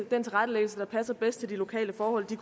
den tilrettelæggelse der passer bedst til de lokale forhold det